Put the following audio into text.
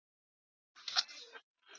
Eru þær ekki orðnar stórar?